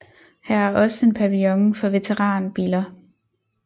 Her er også en pavillon for veteranbiler